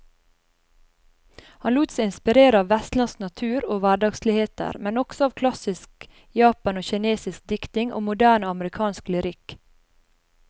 Han lot seg inspirere av vestlandsk natur og hverdagsligheter, men også av klassisk japansk og kinesisk diktning og moderne amerikansk lyrikk.